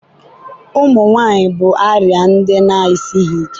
ụmụ nwanyị bụ arịa ndị na-esighị ike.